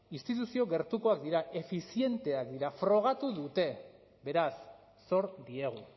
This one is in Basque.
instituzio gertukoak dira efizienteak dira frogatu dute beraz zor diegu